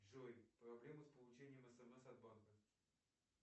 джой проблемы с получением смс от банка